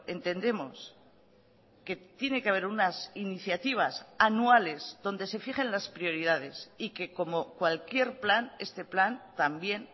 entendemos que tiene que haber unas iniciativas anuales donde se fijen las prioridades y que como cualquier plan este plan también